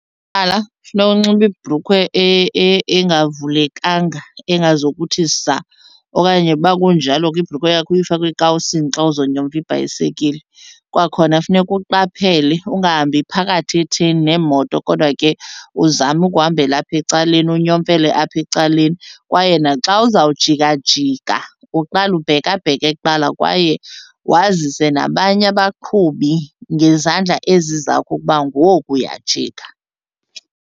funeka unxibe ibhrukhwe engavulekanga, engazokuthi saa. Okanye uba kunjalo ke ibhrukhwe yakho uyifake ekawusini xa uzonyomfa ibhayisekile. Kwakhona funeka uqaphele ungahambi phakathi etheni nemoto kodwa ke uzame ukuhambela apha ecaleni, unyomfele apha ecaleni. Kwaye naxa uzawujikajika uqale ubhekabheke kuqala kwaye wazise nabanye abaqhubi ngezandla ezi zakho ukuba ngoku uyajika.